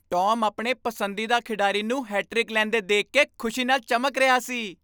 Tom ਆਪਣੇ ਪਸੰਦੀਦਾ ਖਿਡਾਰੀ ਨੂੰ ਹੈਟ੍ਰਿਕ ਲੈਂਦੇ ਦੇਖ ਕੇ ਖੁਸ਼ੀ ਨਾਲ ਚਮਕ ਰਿਹਾ ਸੀ।